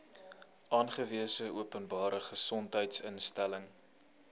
aangewese openbare gesondheidsinstelling